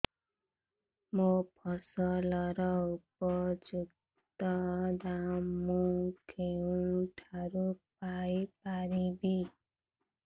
ମୋ ଫସଲର ଉପଯୁକ୍ତ ଦାମ୍ ମୁଁ କେଉଁଠାରୁ ପାଇ ପାରିବି